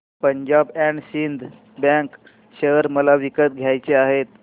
Punjab and Sind bank share मला विकत घ्यायचे आहेत